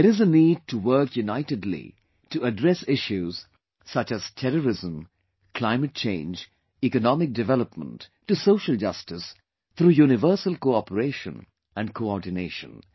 There is a need to work unitedly to address issues such as terrorism, climate change, economic development to social justice through universal cooperation and coordination